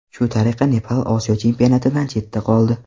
Shu tariqa Nepal Osiyo chempionatidan chetda qoldi.